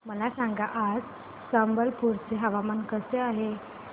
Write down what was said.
मला सांगा आज संबलपुर चे हवामान कसे आहे